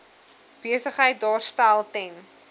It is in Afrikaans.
besigheid daarstel ten